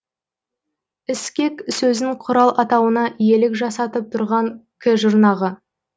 іскек сөзін құрал атауына иелік жасатып тұрған к жұрнағы